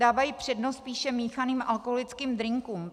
Dávají přednost spíše míchaným alkoholickým drinkům.